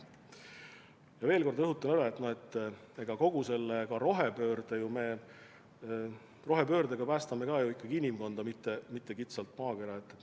Ma veel kord rõhutan üle, et me kogu selle rohepöördega päästame ju ikkagi inimkonda, mitte kitsalt maakonda.